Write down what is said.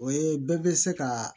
O ye bɛɛ bɛ se ka